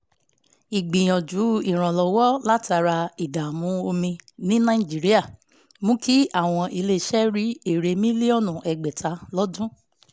ìgbìyànjú ìrànlọ́wọ́ látara ìdààmú omi ní nàìjíríà mú kí àwọn iléeṣẹ́ rí èrè mílíọ̀nù ẹgbẹ̀ta lọ́dún